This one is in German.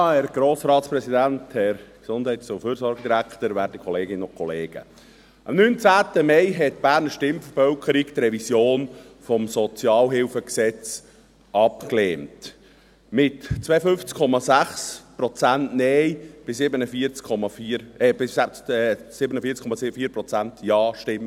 Am 19. Mai lehnte die Berner Stimmbevölkerung die Revision des Gesetzes über die öffentliche Sozialhilfe (Sozialhilfegesetz, SHG) ab – relativ knapp, mit 52,6 Prozent Nein- bei 47,4 Prozent Ja-Stimmen.